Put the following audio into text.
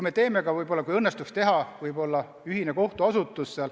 Ja ehk aitaks ka, kui õnnestuks teha ühine üleriigiline kohtuasutus.